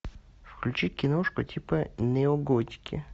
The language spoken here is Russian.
включи киношку типа неоготики